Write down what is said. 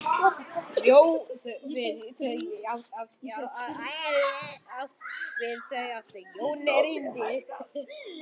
Við þau átti Jón erindi.